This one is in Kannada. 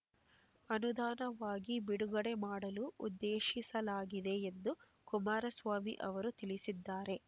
ಅನುದಾನವಾಗಿ ಬಿಡುಗಡೆ ಮಾಡಲು ಉದ್ದೇಶಿಸಲಾಗಿದೆ ಎಂದು ಕುಮಾರಸ್ವಾಮಿ ಅವರು ತಿಳಿಸಿದ್ದಾರೆ